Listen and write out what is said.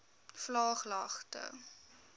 vlaaglagte